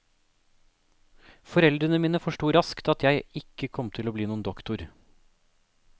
Foreldrene mine forsto raskt at jeg ikke kom til å bli noen doktor.